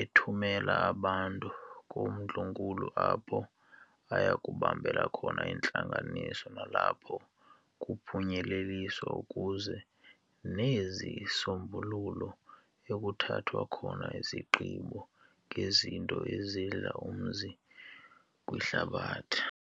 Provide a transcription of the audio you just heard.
ethumela abantu koondlunkulu apho ayakubambela khona iintlanganiso nalapho kuphunyeleliswa kuziwe nezisombululo, ekuthathwa khona izigqibo, ngezinto ezidla umzi kwihlabathi.